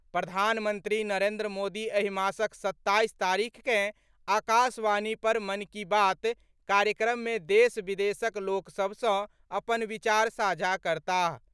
प्रधानमंत्री नरेंद्र मोदी एहि मासक सत्ताइस तारिखकेँ आकाशवाणी पर मन की बात कार्यक्रम मे देश विदेशक लोक सभ सँ अपन विचार साझा करताह।